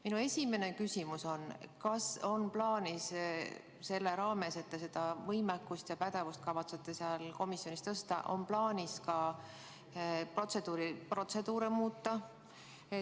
Minu esimene küsimus on: kas on plaanis selleks, et seda võimekust ja pädevust seal komisjonis tõsta, protseduure muuta?